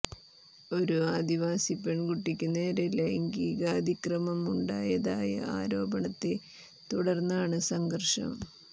ഒരു ആദിവാസി പെണ്കുട്ടിയ്ക്ക് നേരെ ലൈംഗികാതിക്രമം ഉണ്ടായതായ ആരോപണത്തെ തുടര്ന്നാണ് സംഘര്ഷം